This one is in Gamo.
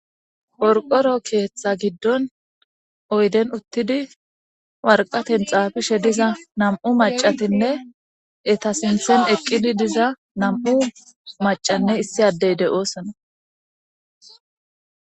Orqoro keeththa giddon oyden uttidi warqaten xaafishe diza nam7u macatinne etasinthen eqqidi diza nam7u macanne issi addey de7oosona.